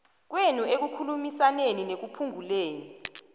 kwenu ekukhulumisaneni nekuphunguleni